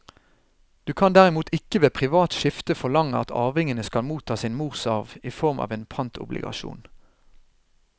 Du kan derimot ikke ved privat skifte forlange at arvingene skal motta sin morsarv i form av en pantobligasjon.